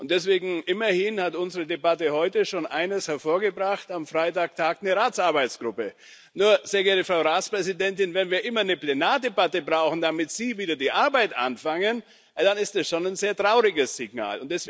Und deswegen Immerhin hat unsere Debatte heute schon eines hervorgebracht Am Freitag tagt eine Arbeitsgruppe des Rates. Nur, sehr geehrte Frau Ratspräsidentin, wenn wir immer eine Plenardebatte brauchen, damit Sie wieder mit der Arbeit anfangen, dann ist das schon ein sehr trauriges Signal.